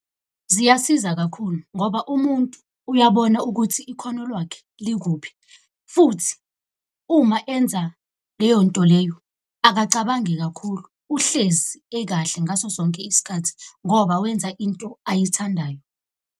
Ziyasiza kakhulu ngoba umuntu uyabona ukuthi ikhono lwakhe likuphi, futhi uma enza leyo nto leyo akacabangi kakhulu uhlezi ekahle ngaso sonke isikhathi ngoba wenza into ayithandayo.